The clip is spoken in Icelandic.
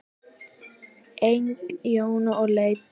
Engin Jóna að leita til.